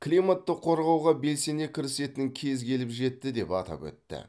климатты қорғауға белсене кірісетін кез келіп жетті деп атап өтті